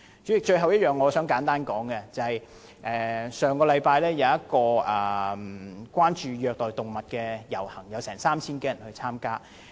主席，最後我想簡單說的是，上星期有一個關注虐待動物的遊行，有 3,000 多人參加。